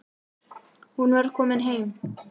Hún var komin heim.